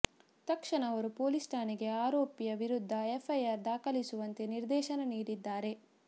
ತಕ್ಷಣ ಅವರು ಪೊಲೀಸ್ ಠಾಣೆಗೆ ಆರೋಪಿಯ ವಿರುದ್ಧ ಎಫ್ಐಆರ್ ದಾಖಲಿಸುವಂತೆ ನಿರ್ದೇಶನ ನೀಡಿದ್ದಾರೆ